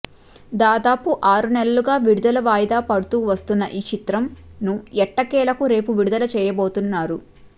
దాదాపు ఆరు నెలలుగా విడుదల వాయిదా పడుతూ వస్తున్న ఈ చిత్రంను ఎట్టకేలకు రేపు విడుదల చేయబోతున్నారు